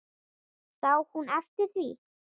Sá hún eftir því?